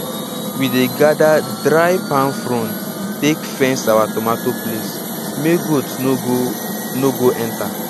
we dey gather dry palm fronds take fence our tomato place make goat no go no go enter